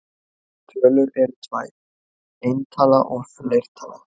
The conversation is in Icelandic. Tölur eru tvær: eintala og fleirtala.